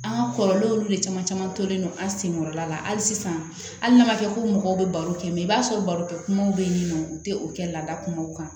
An ka kɔrɔlen olu de caman caman tolen don an sen kɔrɔla la hali sisan hali n'a ma kɛ ko mɔgɔw bɛ baro kɛ mɛ i b'a sɔrɔ barokɛ kumaw bɛ yen nɔ u tɛ o kɛ laada kumaw kan